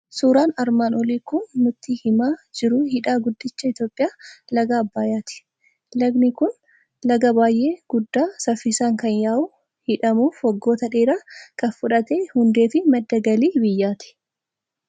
Suuraan armaan olii kan nutti himaa jiru hidha Guddicha Itoophiyaa Laga Abbayyaati. Lagdi kun laga baay'ee guddaa, saffisaan kan yaa'u, hidhamuuf waggoota dheeraa kan fudhate hundee fi madda galii biyyaati.